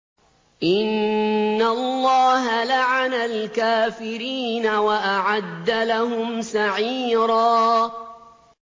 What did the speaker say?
إِنَّ اللَّهَ لَعَنَ الْكَافِرِينَ وَأَعَدَّ لَهُمْ سَعِيرًا